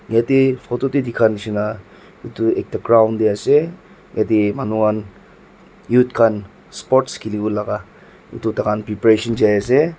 yatae photo tae dikha nishi na edu ekta ground tae ase yatae manu khan youth khan sports khiliwo laka edu tahan preparation jaiase.